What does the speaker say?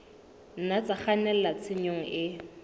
nna tsa kgannela tshenyong e